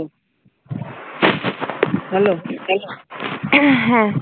Hello